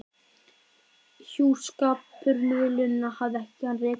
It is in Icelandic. Hjúskaparmiðlunina hafði hann rekið nokkuð lengi.